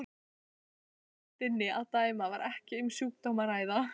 Af tóntegundinni að dæma var ekki um sjúkdóm að ræða.